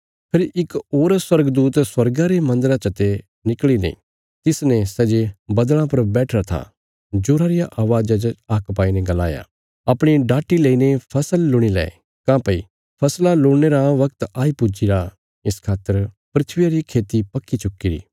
फेरी इक होर स्वर्गदूत स्वर्गा रे मन्दरा चते निकल़ीने तिसने सै जे बद्दल़ां पर बैठिरा था जोरा रिया अवाज़ा च हाक्क पाईने गलाया अपणी डाटी लईने फसल लुणि लै काँह्भई फसला लुणने रा वगत आई पुज्जीरा इस खातर धरतिया री खेती पक्की चुक्कीरी